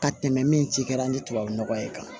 Ka tɛmɛ min ci kɛra ni tubabu nɔgɔ ye kan